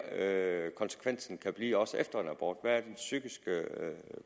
er konsekvensen kan blive også efter en abort hvad den psykiske